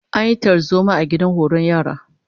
An yi tarzoma a gidan horon yara